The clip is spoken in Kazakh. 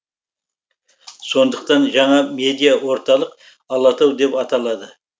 сондықтан жаңа медиа орталық алатау деп аталады